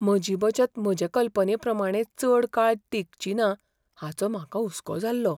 म्हजी बचत म्हजे कल्पनेप्रमाणें चड काळ तिगचीना हाचो म्हाका हुसको जाल्लो.